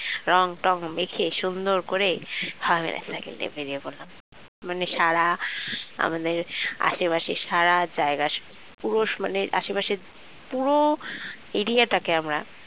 রংটং মেখে সুন্দর করে সবাই মিলে আমরা বেরিয়ে পড়লাম মানে সারা আমাদের আশেপাশের সারা জায়গায় পুরুষ মানে আশেপাশে পুরো area টাকে আমরা